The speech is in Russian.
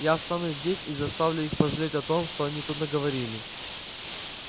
я останусь здесь и заставлю их пожалеть о том что они тут наговорили